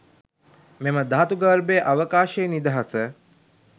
මෙම ධාතු ගර්භයේ අවකාශයේ නිදහස